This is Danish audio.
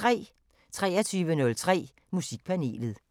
23:03: Musikpanelet